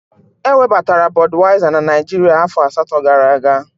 Ewebatara Bọduyaiza na Naijiria afọ asatọ gara aga.